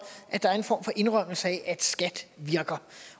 at der er en form for indrømmelse af at skat virker